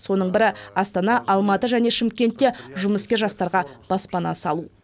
соның бірі астана алматы және шымкентте жұмыскер жастарға баспана салу